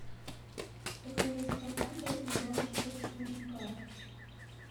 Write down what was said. покажи скафандр и бабочка четыре ка